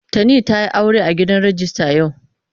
Tani ta yi aure a gidan rijista yau.